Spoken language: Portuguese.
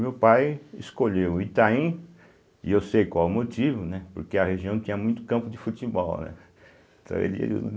Meu pai escolheu Itaim, e eu sei qual o motivo, né, porque a região tinha muito campo de futebol, né. Então ele